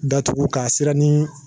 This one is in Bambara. Datugu k'a siranin